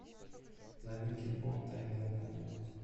новинки по тнв планета